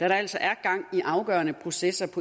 da der altså er gang i afgørende processer på